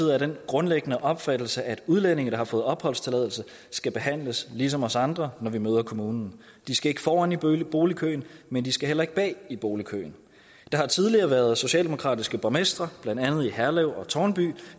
er af den grundlæggende opfattelse at udlændinge der har fået opholdstilladelse skal behandles ligesom os andre når vi møder kommunen de skal ikke foran i boligkøen men de skal heller ikke bag i boligkøen der har tidligere været socialdemokratiske borgmestre blandt andet i herlev og tårnby